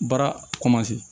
Baara